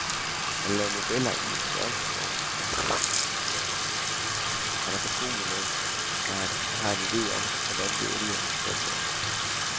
Han laver modeller i en størrelsesorden, han er fortrolig med, så han har en ide om, hvordan det endelige resultat tager sig ud.